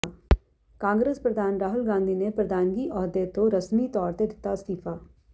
ਕਾਂਗਰਸ ਪ੍ਰਧਾਨ ਰਾਹੁਲ ਗਾਂਧੀ ਨੇ ਪ੍ਰਧਾਨਗੀ ਅਹੁਦੇ ਤੋਂ ਰਸਮੀ ਤੌਰ ਤੇ ਦਿੱਤਾ ਅਸਤੀਫਾ